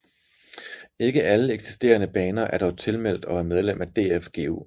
Ikke alle eksisterende baner er dog tilmeldt og er medlem af DFGU